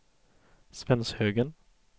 Svenshögen